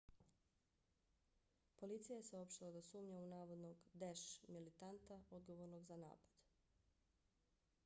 policija je saopštila da sumnja u navodnog daesh isil militanta odgovornog za napad